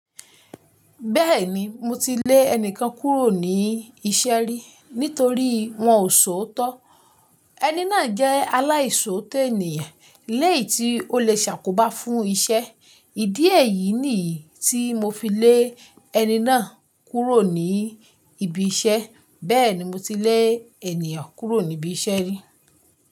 Bẹ́ẹ̀ni, mo ti lè ẹni kan kúrò ní iṣẹ́ rí nítorí wọ́n ò ṣòótọ́. Ẹni náà jẹ́ aláìṣòótọ́ ènìyàn léyìí tí ó lè ṣàkóbá fún iṣẹ́. Ìdí èyí nìyí tí mo fi le ẹni náà kúrò ní ibi iṣẹ́. Bẹ́ẹ̀ni mo ti le ènìyàn kúrò níbi iṣẹ́ rí.